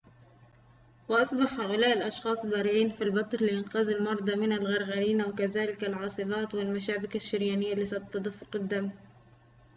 وأصبح هؤلاء الأشخاص بارعين في البتر لإنقاذ المرضى من الغنغرينا وكذلك العاصبات والمشابك الشريانية لصد تدفق الدم